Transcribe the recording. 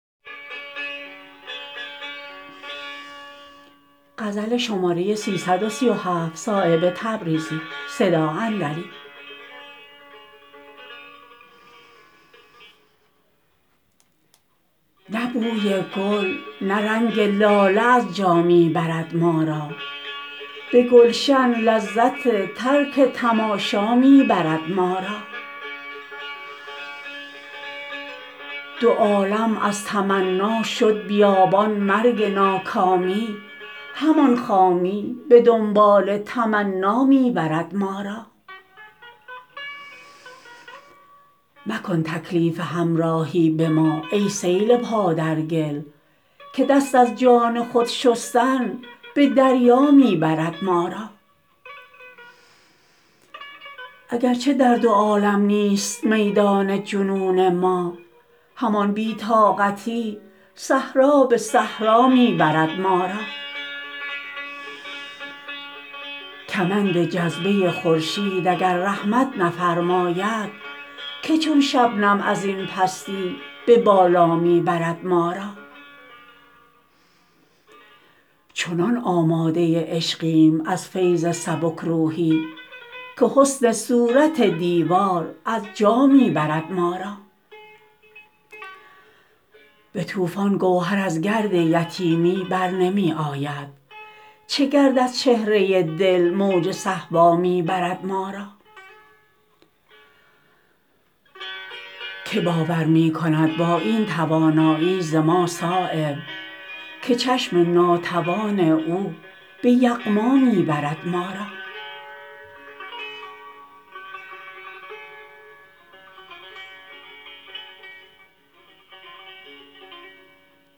نه بوی گل نه رنگ لاله از جا می برد ما را به گلشن لذت ترک تماشا می برد ما را دو عالم از تمنا شد بیابان مرگ ناکامی همان خامی به دنبال تمنا می برد ما را مکن تکلیف همراهی به ما ای سیل پا در گل که دست از جان خود شستن به دریا می برد ما را اگر چه در دو عالم نیست میدان جنون ما همان بی طاقتی صحرا به صحرا می برد ما را کمند جذبه خورشید اگر رحمت نفرماید که چون شبنم ازین پستی به بالا می برد ما را چنان آماده عشقیم از فیض سبکروحی که حسن صورت دیوار از جا می برد ما را به طوفان گوهر از گرد یتیمی برنمی آید چه گرد از چهره دل موج صهبا می برد ما را که باور می کند با این توانایی ز ما صایب که چشم ناتوان او به یغما می برد ما را